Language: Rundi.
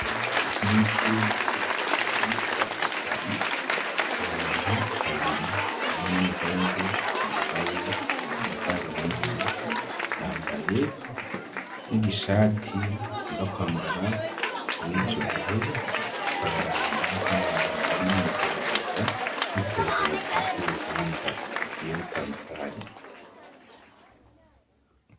Mw'icumbi c'ivyigwa hari abantu babiri umwa n'umuhungu yambaye amadarubindi yambaye n'igishati akunda kwambara muri ico gihe gikabaranga nk'abantu bari mwigerageza nitoka oza ry'ubuhinga ubwiye gutandukanya.